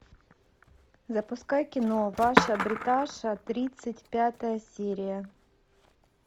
запускай кино ваша бриташа тридцать пятая серия